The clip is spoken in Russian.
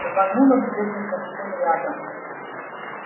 рвануло где то совсем рядом